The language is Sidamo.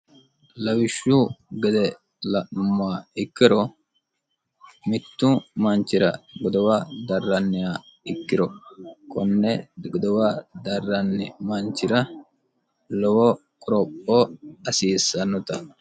lawishshu gede la'ma ikkiro mittu manchira godowa darranniha ikkiro konne godowa darranni manchira lowo qorokoo hasiissannota